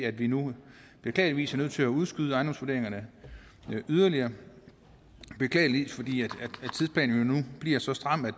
at vi nu beklageligvis er nødt til at udskyde ejendomsvurderingerne yderligere beklageligvis fordi tidsplanen nu bliver så stram at